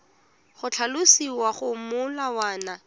go tlhalosiwa mo go molawana